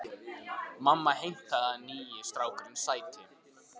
Mamma heimtaði að nýi strákurinn sæti.